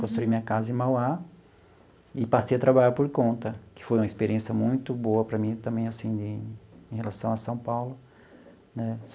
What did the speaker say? Construí minha casa em Mauá e passei a trabalhar por conta, que foi uma experiência muito boa para mim também, assim, em em relação a São Paulo né.